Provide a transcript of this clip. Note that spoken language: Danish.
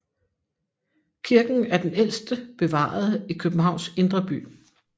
Kirken er den ældste bevarede i Københavns indre by